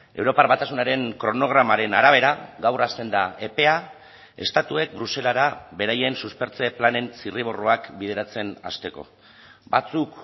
europar batasunaren kronogramaren arabera gaur hasten da epea estatuek bruselara beraien suspertze planen zirriborroak bideratzen hasteko batzuk